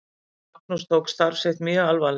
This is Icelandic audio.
Magnús tók starf sitt alvarlega.